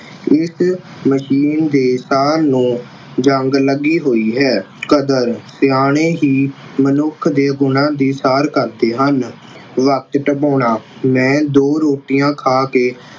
ਇਸ ਮਸ਼ੀਨ ਦੇ ਤਾਰ ਨੁੂੰ ਜੰਗ ਲੱਗੀ ਹੋਈ ਹੈ। ਕਦਰ ਸਿਆਣੇ ਹੀ ਮਨੁੱਖ ਦੇ ਬੋਲਾ ਦੀ ਸਾਰ ਕਰਦੇ ਹਨ। ਵਖਤ ਮੈਂ ਦੋ ਰੋਟੀਆਂ ਖਾ ਕਿ